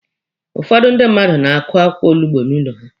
Ụfọdụ ndị mmadụ na-akụ akwụkwọ olugbo n'ụlọ ha.